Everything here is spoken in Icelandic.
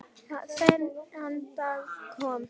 Þannig við styðjum hvorn annan.